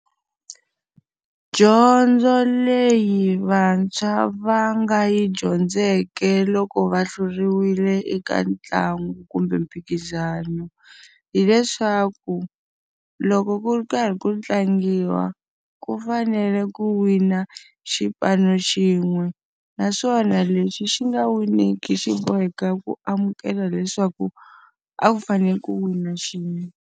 Dyondzo leyi vantshwa va nga yi dyondzeke loko va hluriwile eka ntlangu kumbe mphikizano, hileswaku loko ku ri karhi ku tlangiwa ku fanele ku wina xipano xin'we. Naswona lexi xi nga win-iki xi boheka ku amukela leswaku a ku fanele ku wina xin'we.